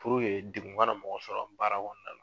Furu ye degun ŋana mɔgɔ sɔrɔ baara kɔnɔna la